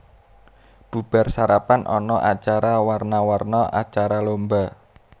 Bubar sarapan ana acara warna warna acara lomba